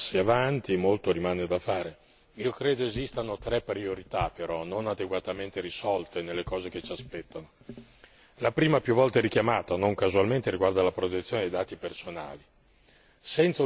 sono stati fatti dei passi avanti, molto rimane da fare. Credo esistano tre priorità, però non adeguatamente risolte nelle cose che ci aspettano. La prima, più volte richiamata e non casualmente, riguarda la protezione dei dati personali.